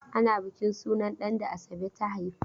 Ana bukin sunan ɗan da Asabe ta haifa.